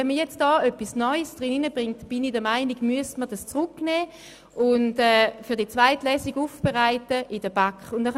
Wenn jetzt ein neuer Aspekt eingebracht wird, sollte er in der Kommission einmal diskutiert und für die zweite Lesung aufbereitet werden.